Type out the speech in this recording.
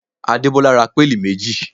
Adebola ra péèlì méjì